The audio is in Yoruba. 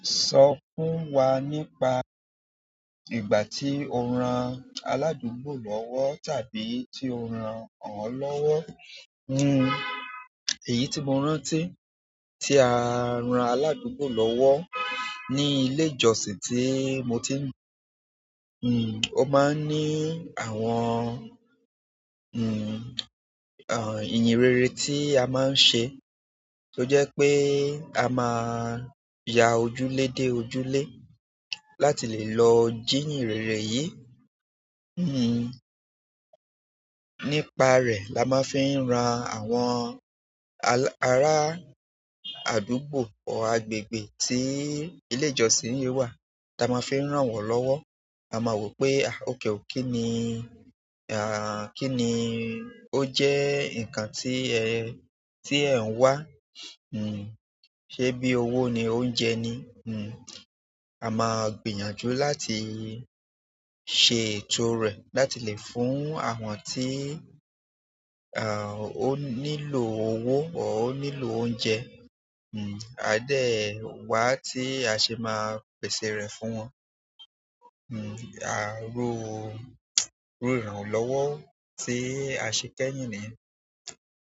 Sọ fún wa nípa ìgbà tí o ran aládùúgbò lọ́wọ́ tàbí tí ó ràn ọ́ lọ́wọ́. Hmm, èyí tí mo rántí tí a ran aládùúgbò lọ́wọ́ ní ilé ìjọsìn tí mo ti ń. Hmm, ó máa ń ní àwọn, hmm, àh, ìyìnrere tí a máa ń ṣe tó jẹ́ pé a máa ya ojúlé dé ojúlé láti lè lọ jí ìyìnrere yìí. Hmm, nípa rẹ̀ la máa fi ń ran àwọn ará àdúgbò ọr agbègbè tí ilé ìjọsìn yìí wà ta máa fi ń ràn wọ́n lọ́wọ́. A ma wò ó pé à ok o, kínni, kínni ó jẹ́ ǹkan tí ẹ̀ ń wá, hmm, ṣé bí owó ni, oúnjẹ ni, hmm a máa gbìyànjú láti ṣe ètò o rẹ̀ láti lè fún àwọn tí, à, ó nílò owó or ó nílò oúnjẹ. Hmm, àá dẹ̀ wá tí a ṣe máa pèsè rẹ̀ fún wọn. Hmm, à, rú u irú ìrànlọ́wọ́ tí a ṣẹ kẹ́yìn nìyẹn.